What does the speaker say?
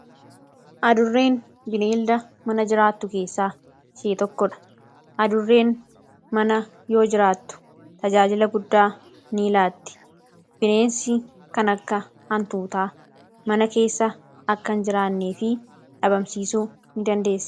Adurreen bineelda mana jiraattu keessaa ishee tokkodha. Adurreen mana yoo jiraattu; faayidaa guddaa ni laatti. Bineensi kan akka hantuutaa mana keessa akka hin jiraanneefi dhabamsiisuu ni dandeessi.